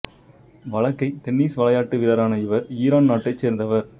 வலக்கை tennis விளையாட்டு வீரரான இவர் ஈரான் நாட்டைச் சேர்ந்தவர்